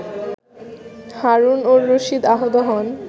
হারুন অর রশিদ আহত হন